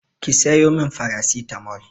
Ki sayo min farasitamol!